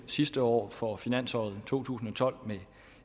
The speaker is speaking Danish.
sidste år for finansåret to tusind og tolv med